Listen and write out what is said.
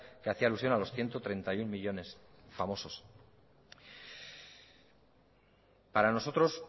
que hacía alusión a los ciento treinta y uno millónes famosos para nosotros